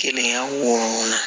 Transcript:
Kelen wo